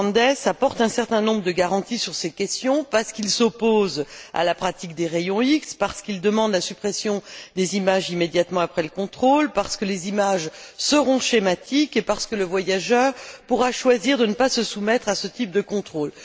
de Grandes apporte un certain nombre de garanties sur ces questions parce qu'il s'oppose à la pratique des rayons X, parce qu'il demande la suppression des images immédiatement après le contrôle, parce que les images seront schématiques et parce que le voyageur pourra choisir de ne pas se soumettre à ce type de contrôles.